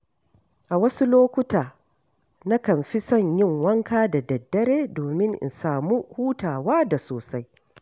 A wasu lokuta, nakan fi son yin wanka da daddare domin in samu hutawa da sosai.